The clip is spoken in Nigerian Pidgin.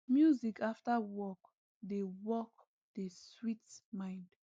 music after work dey work dey sweet mind